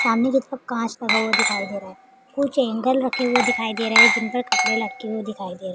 सामने कि तरफ कांच लगा हुआ दिखाई दे रहा है। कुछ एंगल रखे हुए दिखाई दे रहे जिन पर कपड़े लटके हुए दिखाई दे रहे हैं।